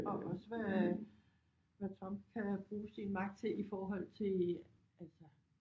Og også hvad Trump kan bruge sin magt til i forhold til altså